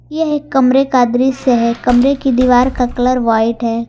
यह एक कमरा का दृश्य है कमरे का दीवार का कलर व्हाइट है।